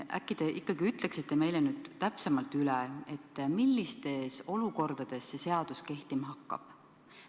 Äkki te ikkagi ütleksite meile täpsemalt üle, millistes olukordades see seadus kehtima hakkab.